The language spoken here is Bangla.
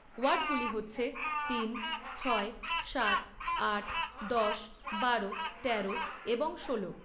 ওয়ার্ডগুলি হচ্ছে তিন, ছয়, সাত, আট, দশ, বারো, তেরো, এবং ষোলো।